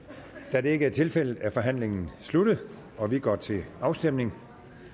da det ikke er tilfældet er forhandlingen sluttet og vi går til afstemning